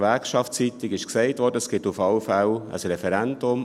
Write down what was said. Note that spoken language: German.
Gewerkschaftsseitig wurde gesagt, es gebe auf jeden Fall ein Referendum.